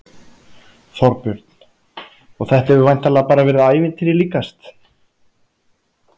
Þorbjörn: Og þetta hefur væntanlega bara verið ævintýri líkast?